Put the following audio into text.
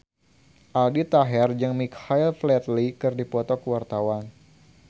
Aldi Taher jeung Michael Flatley keur dipoto ku wartawan